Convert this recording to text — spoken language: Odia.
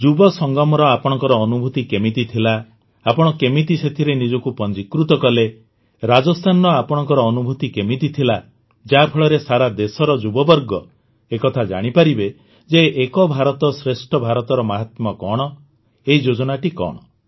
ଯୁବ ସଙ୍ଗମର ଆପଣଙ୍କ ଅନୁଭୂତି କେମିତି ଥିଲା ଆପଣ କେମିତି ସେଥିରେ ନିଜକୁ ପଞ୍ଜିକୃତ କଲେ ରାଜସ୍ଥାନର ଆପଣଙ୍କ ଅନୁଭୁତି କେମିତି ଥିଲା ଯାହାଫଳରେ ସାରା ଦେଶର ଯୁବବର୍ଗ ଏ କଥା ଜାଣିପାରିବେ ଯେ ଏକ ଭାରତଶ୍ରେଷ୍ଠ ଭାରତର ମହାତ୍ମ୍ୟ କଣ ଏହି ଯୋଜନାଟି କଣ